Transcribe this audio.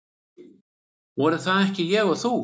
Voru það ekki ég og þú?